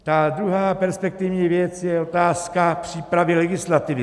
Ta druhá perspektivní věc je otázka přípravy legislativy.